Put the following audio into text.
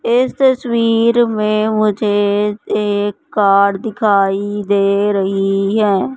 इस तस्वीर में मुझे एक कार दिखाई दे रही है।